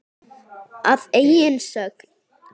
Að eigin sögn.